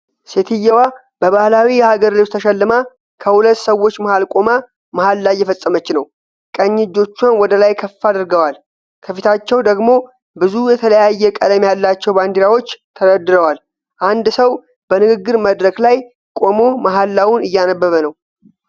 ሴትዮዋ በባህላዊ የሀገር ልብስ ተሸልማ፣ ከሁለት ሰዎች መሃል ቆማ መሃላ እየፈፀመች ነው። ቀኝ እጆቿን ወደ ላይ ከፍ አድርገዋል፤ ከፊታቸው ደግሞ ብዙ የተለያየ ቀለም ያላቸው ባንዲራዎች ተደርድረዋል። አንድ ሰው በንግግር መድረክ ላይ ቆሞ መሃላውን እያነበበ ነው።